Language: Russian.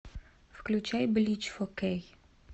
включай блич фо кей